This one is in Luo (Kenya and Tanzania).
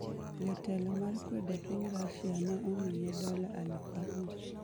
Jatelo mar kwedo piny Russia ne omiye dola aluf abich